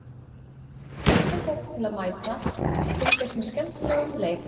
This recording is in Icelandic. Hvetjum fólk til að mæta og fylgjast með skemmtilegum leik.